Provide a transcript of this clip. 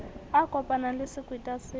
a kopanang le sekweta se